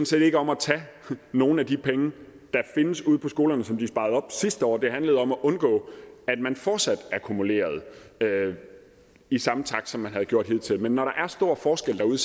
set ikke om at tage nogle af de penge der findes ude på skolerne som de sparede op sidste år det handlede om at undgå at man fortsat akkumulerede i samme takt som man havde gjort hidtil man når der er stor forskel derude